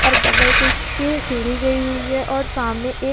और बगल से इसके सीढ़ी गई हुई है और सामने एक --